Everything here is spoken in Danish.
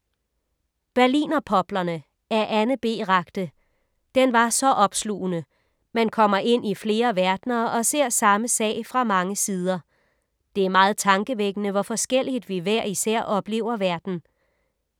Berlinerpoplerne af Anne B. Ragde. Den var så opslugende. Man kommer ind i flere verdener og ser samme sag fra mange sider. Det er meget tankevækkende, hvor forskelligt vi hver især oplever verden.